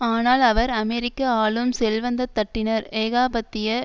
ஆனால் அவர் அமெரிக்க ஆளும் செல்வந்தத்தட்டினர் ஏகாபத்திய